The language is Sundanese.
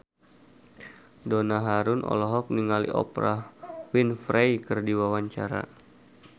Donna Harun olohok ningali Oprah Winfrey keur diwawancara